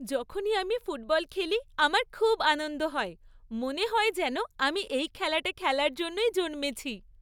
যখনই আমি ফুটবল খেলি, আমার খুব আনন্দ হয়। মনে হয় যেন আমি এই খেলাটা খেলার জন্যই জন্মেছি।